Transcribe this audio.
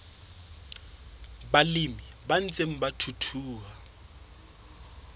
balemi ba ntseng ba thuthuha